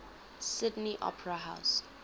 sydney opera house